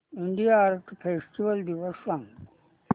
India art festival दिवस सांग